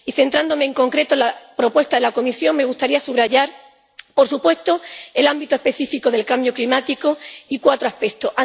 Y, centrándome en concreto en la propuesta de la Comisión, me gustaría subrayar, por supuesto, el ámbito específico del cambio climático y cuatro aspectos.